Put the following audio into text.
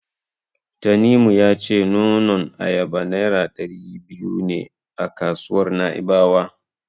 Tanimu ya ce nonon ayaba Naira ɗari biyu ne a kasuwar Na'ibawa.